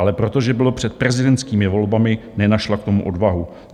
Ale protože bylo před prezidentskými volbami, nenašla k tomu odvahu.